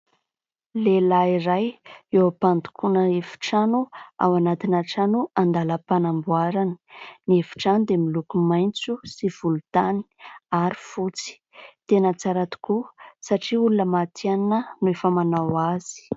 Lehilahy iray eo am-pandokoana efitrano ao anatina trano an-dalam-panamboarana. Ny efitrano dia miloko maitso sy volontany ary fotsy. Tena tsara tokoa satria olona matihanina no efa manao azy.